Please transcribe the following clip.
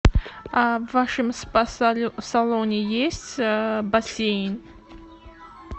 в вашем спа салоне есть бассейн